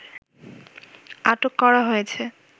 আটক করা হয়েছে